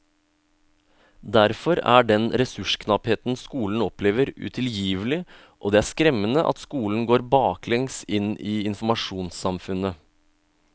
Derfor er den ressursknappheten skolen opplever utilgivelig, og det er skremmende at skolen går baklengs inn i informasjonssamfunnet.